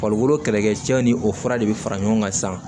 Farikolo kɛlɛkɛcɛw ni o fura de bɛ fara ɲɔgɔn kan sisan